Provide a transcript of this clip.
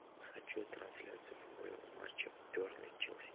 хочу трансляцию футбольного матча бернли челси